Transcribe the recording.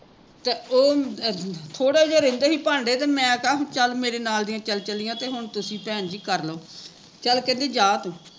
ਤੇ ਓਹ ਅਮ ਥੋੜੇ ਜਹੇ ਰਹਿੰਦੇ ਸੀ ਭਾਂਡੇ ਮੈਂ ਕਿਹਾ ਮੈਂ ਵੀ ਚੱਲ ਮੇਰੇ ਨਾਲ਼ ਦੀਆ ਚੱਲ ਚਲੀਆ ਮੈਂ ਕਿਹਾ ਵੀ ਹੁਣ ਤੁਸੀਂ ਭੈਣ ਜੀ ਕਰਲੋ ਚੱਲ ਕਹਿੰਦੀ ਜਾਂ ਤੂ